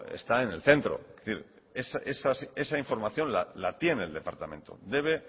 está en el centro es decir esa información la tiene el departamento debe